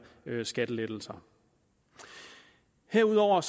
skattelettelser herudover